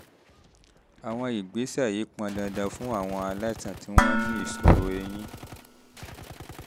àwọn ìgbésẹ̀ yìí pọn dandan fún àwọn aláìsàn tí wọ́n ní ìṣòro eyín